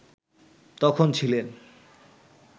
তখন ছিলেন